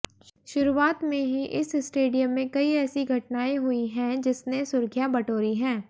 शुरुआत से ही इस स्टेडियम में कई ऐसी घटनाएं हुई हैं जिसने सुर्खियां बटोरी हैं